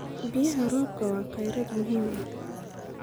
Biyaha roobka waa kheyraad muhiim ah.